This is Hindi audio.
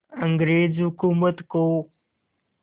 अंग्रेज़ हुकूमत को